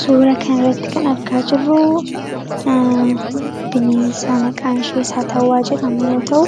suura kanirratti kan argaa jirruu bineensa maqaanshee saatawwaa jedhamuyoo ta'u